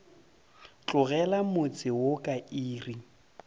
tlogela motse wo ka iri